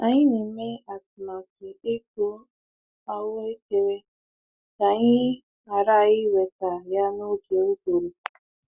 Anyị na-eme atụmatụ ịkụ ahụekere ka anyị ghara iweta ya n'oge uguru.